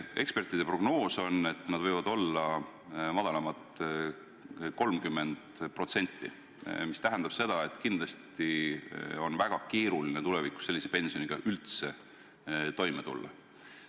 Ekspertide prognoos on, et need võivad olla madalamad 30%, mis tähendab seda, et kindlasti on väga keeruline tulevikus sellise pensioniga üldse toime tulla.